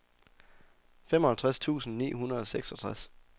femoghalvtreds tusind ni hundrede og seksogtres